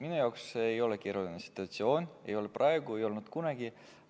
Minu jaoks ei ole see keeruline situatsioon, ei ole praegu ega ole kunagi olnud.